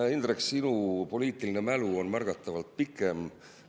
Hea Indrek, sinu poliitiline mälu on märgatavalt pikem.